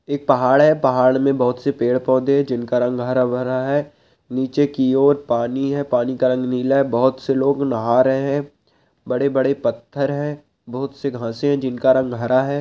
एक पहाड़ है पहाड़ में बहुत से पेड़ -पौधे हैं जिनका रंग हरा- भरा है नीचे की ओर पानी है पानी का रंग नीला है बहुत से लोग नहा रहे है बड़े -बड़े पत्थर हैं बहुत से घासे हैं जिनका रंग हरा है।